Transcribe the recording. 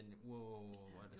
i den wow